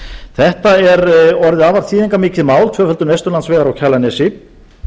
þetta er orðið afar þýðingarmikið mál tvöföldun vesturlandsvegar á kjalarnesi